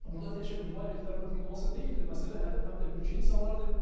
Burda təkcə nivarevlərin vurulması deyildi məsələ, hədəf həm də mülki insanlar idi.